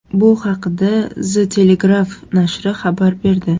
Bu haqda The Telegraph nashri xabar berdi .